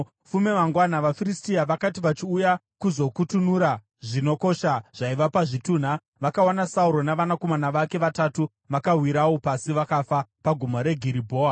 Fume mangwana, vaFiristia vakati vachiuya kuzokutunura zvinokosha zvaiva pazvitunha, vakawana Sauro navanakomana vake vatatu vakawirawo pasi vakafa paGomo reGiribhoa.